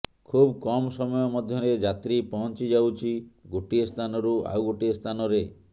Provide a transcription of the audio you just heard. ଖୁବ୍ କମ୍ ସମୟ ମଧ୍ୟରେ ଯାତ୍ରୀ ପହଂଚିଯାଉଛି ଗୋଟିଏ ସ୍ଥାନରୁ ଆଉ ଗୋଟିଏ ସ୍ଥାନରେ